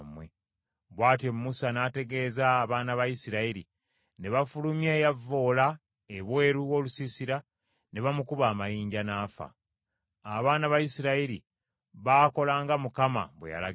Bw’atyo Musa n’ategeeza abaana ba Isirayiri, ne bafulumya eyavvoola ebweru w’olusiisira ne bamukuba amayinja n’afa. Abaana ba Isirayiri baakola nga Mukama bwe yalagira Musa.